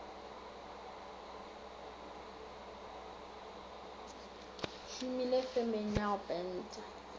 šomile femeng ya go penta